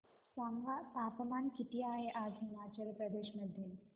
सांगा तापमान किती आहे आज हिमाचल प्रदेश मध्ये